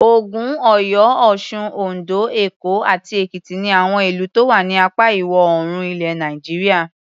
Ògùn, Ọ̀yọ́, Ọ̀sun, Oǹdó, Èkó àti Èkìtì ni àwọn ìlú tó wà ní apá Ìwọ̀-oòrùn ilẹ̀ Nàìjíríà.